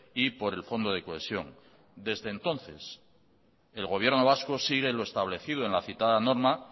y por el fondo de cohesión desde entonces el gobierno vasco sigue lo establecido en la citada norma